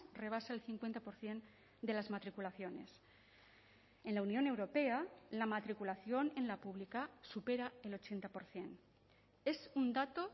rebasa el cincuenta por ciento de las matriculaciones en la unión europea la matriculación en la pública supera el ochenta por ciento es un dato